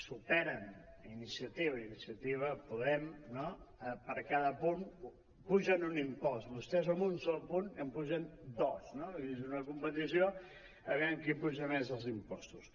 superen iniciativa iniciativa·podem per cada punt apugen un impost vostès amb un sol punt n’apugen dos no vull dir és una competició aviam qui apuja més els impostos